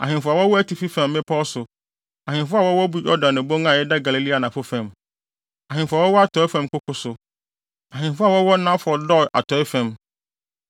ahemfo a wɔwɔ atifi fam mmepɔw so, ahemfo a wɔwɔ Yordan Bon a ɛda Galilea anafo fam; ahemfo a wɔwɔ atɔe fam nkoko so; ahemfo a wɔwɔ Nafɔt Dor atɔe fam;